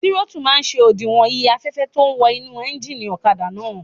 Tírótù máa n ṣe òdiwọ̀n iye afẹ́fẹ́ tó ún wọ inú éjìnì ọ̀kadà náà